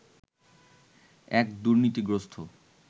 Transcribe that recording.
এক দুর্নীতিগ্রস্ত